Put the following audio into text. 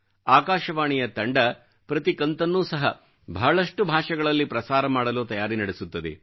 ಆಕಾಶವಾಣಿಯ ತಂಡ ಪ್ರತಿ ಕಂತನ್ನೂ ಸಹ ಬಹಳಷ್ಟು ಭಾಷೆಗಳಲ್ಲಿ ಪ್ರಸಾರ ಮಾಡಲು ತಯಾರಿ ನಡೆಸುತ್ತದೆ